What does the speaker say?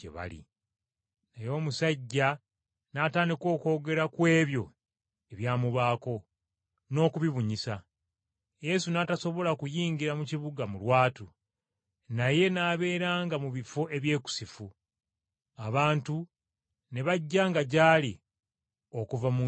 Naye omusajja n’atandika okwogera ku ebyo ebyamubaako, n’okubibunyisa. Yesu n’atasobola kuyingira mu kibuga mu lwatu, naye n’abeeranga mu bifo ebyekusifu. Abantu ne bajjanga gy’ali okuva mu njuyi zonna.